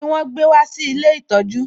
Kíni wọn gbé wá sí ilé ìtọjú?